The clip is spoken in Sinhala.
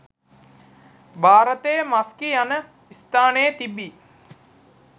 භාරතයේ මස්කි යන ස්ථානයේ තිබී